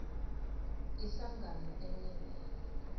ihlangano enye nenye